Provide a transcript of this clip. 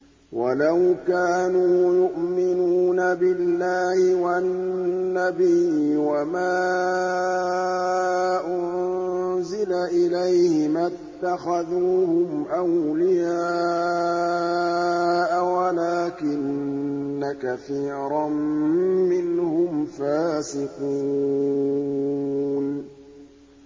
وَلَوْ كَانُوا يُؤْمِنُونَ بِاللَّهِ وَالنَّبِيِّ وَمَا أُنزِلَ إِلَيْهِ مَا اتَّخَذُوهُمْ أَوْلِيَاءَ وَلَٰكِنَّ كَثِيرًا مِّنْهُمْ فَاسِقُونَ